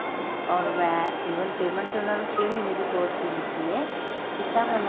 or ਮੈਂ even payment ਤਾਂ ਉਹਨੂੰ ਛੇ ਮਹੀਨੇ ਦੇ course ਦੀ ਕੀਤੀ ਹੈ ਕੀਤਾ ਹੋਇਆ